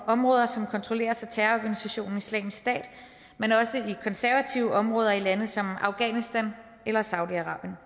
områder som kontrolleres af terrororganisationen islamisk stat men også i konservative områder i lande som afghanistan eller saudi arabien